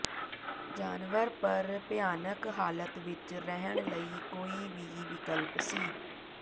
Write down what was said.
ਜਾਨਵਰ ਪਰ ਭਿਆਨਕ ਹਾਲਾਤ ਵਿੱਚ ਰਹਿਣ ਲਈ ਕੋਈ ਵੀ ਵਿਕਲਪ ਸੀ